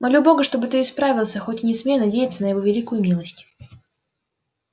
молю бога чтоб ты исправился хоть и не смею надеяться на его великую милость